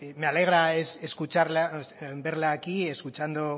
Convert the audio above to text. me alegra verla aquí escuchando